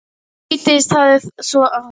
Síðdegis hafði svo þykknað upp en hangið þurrt.